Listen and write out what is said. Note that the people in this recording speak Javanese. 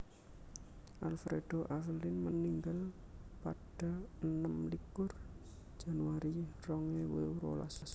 Alfredo Avelin meninggal pada enem likur Januari rong ewu rolas